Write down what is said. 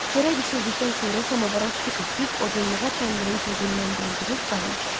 Çörək bişirdikdən sonra samavara su töküb, odunluğa təndirin közündən doldurub qaynatdı.